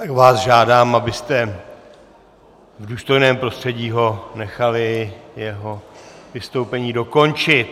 Tak vás žádám, abyste v důstojném prostředí ho nechali jeho vystoupení dokončit.